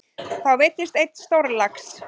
Þá veiddist einn stórlax.